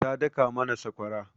Ta daka mana sakwara.